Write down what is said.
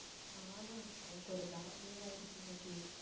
நானா எனக்கு ஒரு bad day ஆயிடுச்சு இன்னைக்கு